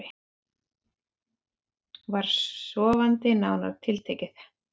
Var sofandi nánar tiltekið.